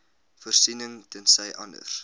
voorsiening tensy anders